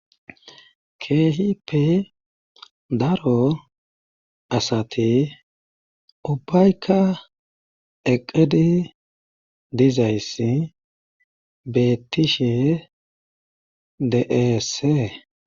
kehipe daro asati ubayka eqedi dizayssi bettishe deese